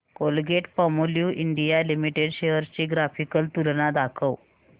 Colgate Palmolive India limited shares ची graphical तुलना दाखव